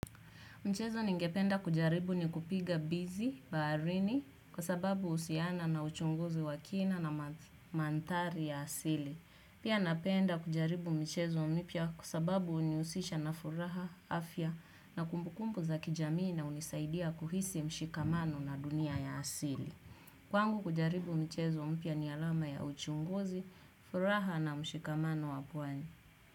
Mchezo ningependa kujaribu ni kupiga bizi, baharini, kwa sababu usiana na uchunguzi wa kina na manthari ya asili. Pia napenda kujaribu mchezo mpya kwa sababu uniusisha na furaha, afya, na kumbukumbu za kijamii na unisaidia kuhisi mshikamano na dunia ya asili. Kwangu kujaribu mchezo mpya ni alama ya uchunguzi, furaha na mshikamano wa pwani.